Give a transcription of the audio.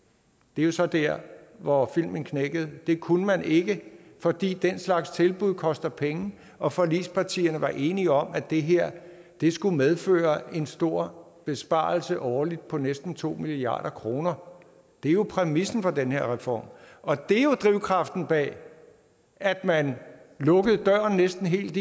det er jo så der hvor filmen knækkede det kunne man ikke fordi den slags tilbud koster penge og forligspartierne var enige om at det her skulle medføre en stor besparelse årligt på næsten to milliard kroner det er jo præmissen for den her reform og det er jo drivkraften bag at man lukkede døren næsten helt